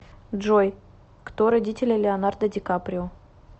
джой кто родители леонардо ди каприо